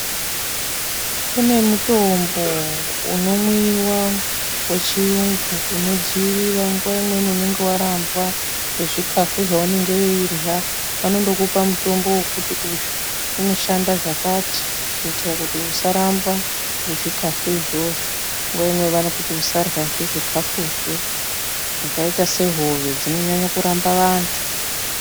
Kune mutombo unomwiwa wechiyungu unodzivirira nguwa imweni unenge warambwa ngezvikhafu zvaunenge weirya vanondokupa mutombo wekuti uyu unoshanda zvakati kuitira kuti usarambwa ngezvikhafu izvozvo, nguva imwe vanokuti usaryazve zvikhafuzvo zvakaita sehove dzinonyanya kuramba vantu.